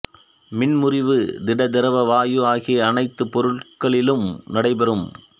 மின் முறிவு திட திரவ வாயு ஆகிய அனைத்துப் பொருள்களிலும் நடைபெறும்